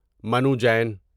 Manu Jain